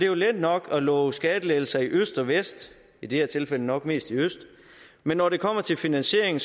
jo let nok at love skattelettelser i øst og vest i det her tilfælde nok mest i øst men når det kommer til finansieringen